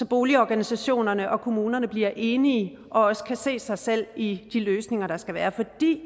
boligorganisationerne og kommunerne bliver enige og også kan se sig selv i de løsninger der skal være